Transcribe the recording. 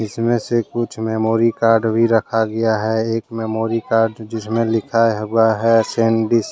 इसमे से कुछ मेमोरी कार्ड भी रखा गया है एक मेमोरी कार्ड जिस्मे लिखा हुआ है सैंडिस्क ।